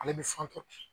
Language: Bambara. Ale bɛ